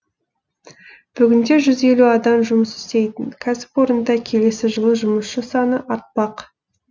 бүгінде жүз елу адам жұмыс істейтін кәсіпорында келесі жылы жұмысшы саны артпақ